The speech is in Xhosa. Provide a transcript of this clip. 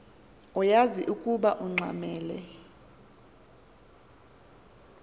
uyaz ukoba ungxamel